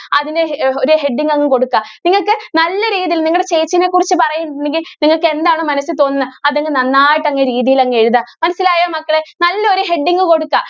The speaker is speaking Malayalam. അതിന് ഒരു heading അങ്ങ് കൊടുക്ക നിങ്ങൾക്ക് നല്ല രീതിയിൽ നിങ്ങളുടെ ചേച്ചിയെ കുറിച്ച് പറയുന്നുണ്ടെങ്കിൽ നിങ്ങൾക്ക് എന്താണ് മനസ്സിൽ തോന്നുന്നത് അത് അങ്ങ് നന്നായിട്ട് അങ്ങ് രീതിയിൽ എഴുതാ. മനസ്സിലായോ മക്കളെ? നല്ല ഒരു heading കൊടുക്കുക.